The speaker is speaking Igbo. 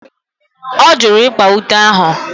Ọ jụrụ ịkpa ute ahụ.